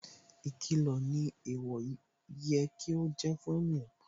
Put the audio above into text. Ìkìlọ̀ ni ẹ̀ẹ̀wọ̀ yẹ kí ó ṣe fún ènìyàn